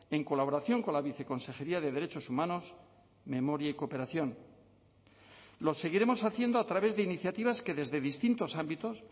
en colaboración con la viceconsejería de derechos humanos memoria y cooperación lo seguiremos haciendo a través de iniciativas que desde distintos ámbitos